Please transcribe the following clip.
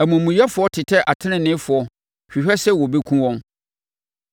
Amumuyɛfoɔ tetɛ ateneneefoɔ hwehwɛ sɛ wɔbɛkum wɔn,